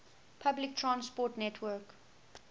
public transport network